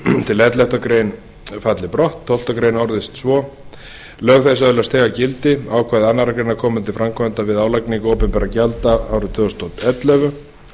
til ellefta grein falli brott annað tólftu grein orðist svo lög þessi öðlast þegar gildi ákvæði annarrar greinar koma til framkvæmda við álagningu opinberra gjalda árið tvö þúsund og ellefu